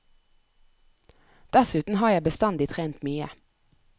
Dessuten har jeg bestandig trent mye.